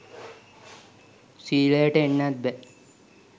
සීලයට එන්නත් බෑ